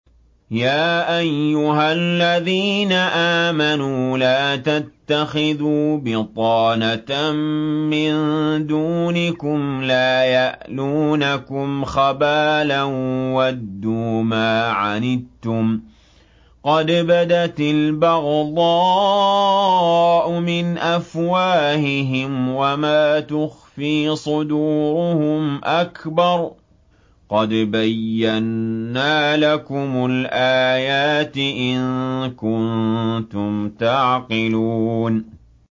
يَا أَيُّهَا الَّذِينَ آمَنُوا لَا تَتَّخِذُوا بِطَانَةً مِّن دُونِكُمْ لَا يَأْلُونَكُمْ خَبَالًا وَدُّوا مَا عَنِتُّمْ قَدْ بَدَتِ الْبَغْضَاءُ مِنْ أَفْوَاهِهِمْ وَمَا تُخْفِي صُدُورُهُمْ أَكْبَرُ ۚ قَدْ بَيَّنَّا لَكُمُ الْآيَاتِ ۖ إِن كُنتُمْ تَعْقِلُونَ